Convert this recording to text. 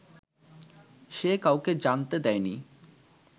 সে কাউকে জানতে দেয়নি